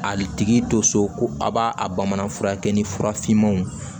Ali tigi to so ko a b'a a bamanan fura kɛ ni fura finmanw